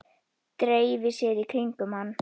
Dreifi sér í kringum hann.